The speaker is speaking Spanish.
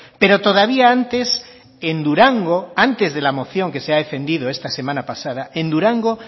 pero todavía antes en durango antes de la moción que se ha defendido esta semana pasada en durango